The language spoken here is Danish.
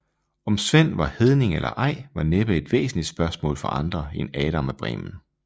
Om Sven var hedning eller ej var næppe et væsentlig spørgsmål for andre end Adam af Bremen